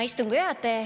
Hea istungi juhataja!